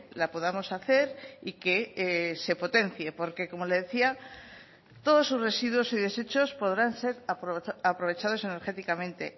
la podamos hacer y que se potencie porque como le decía todos sus residuos y desechos podrán ser aprovechados energéticamente